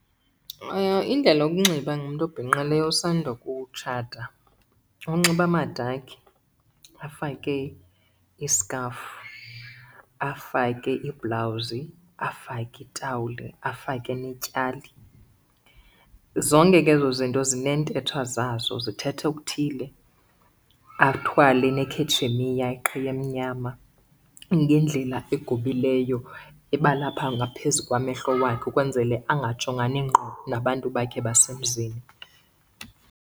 Indlela yokunxiba ngumntu obhinqileyo osanda kutshata unxiba amadakhi afake iskhafu, afake ibhulawuzi, afake itawuli afake netyali. Zonke ke ezo zinto zineentetho zazo zithetha okuthile. Athwale nekhetshemiya iqhiya emnyama ngendlela egobileyo eba lapha ngaphezu kwamehlo wakhe ukwenzele angajongani ngqo nabantu bakhe basemzini.